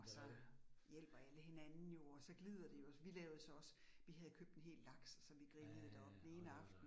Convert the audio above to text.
Og så hjælper alle hinanden jo, og så glider det jo, og vi lavede så også, vi havde købt en hel laks, som vi grillede deroppe den ene aften